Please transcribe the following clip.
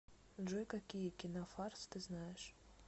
джой какие кинофарс ты знаешь